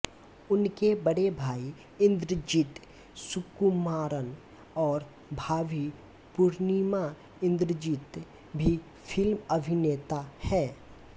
उनके बड़े भाई इन्द्रजित सुकुमारन और भाभी पूर्णिमा इन्द्रजित भी फ़िल्म अभिनेता हैं